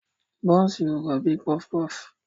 Bọ́nsì ò rọ̀ bíi pọfupọfu.